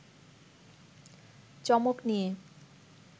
চমক নিয়ে